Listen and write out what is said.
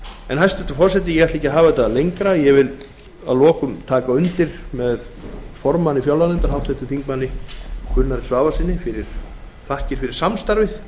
reynslunnar hæstvirtur forseti ég ætla ekki að hafa þetta lengra ég vil að lokum taka undir með formanni fjárlaganefndar háttvirtum þingmönnum gunnari svavarssyni og þakka fyrir samstarfið